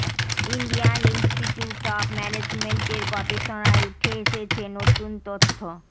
Indian institute of ম্যানেজমেন্টের গবেষণায় উঠে এসেছে নতুন তথ্য